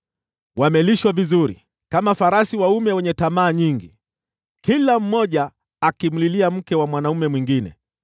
Wamelishwa vizuri, kama farasi waume wenye tamaa nyingi, kila mmoja akimlilia mke wa mwanaume mwingine.